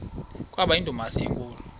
kwaba yindumasi enkulu